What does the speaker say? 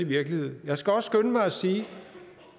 virkelighed jeg skal også skynde mig at sige